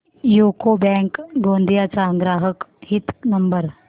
UCO bank Gondia चा ग्राहक हित नंबर